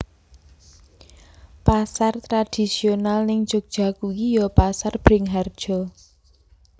Pasar tradisional ning Jogja kui yo Pasar Bringharjo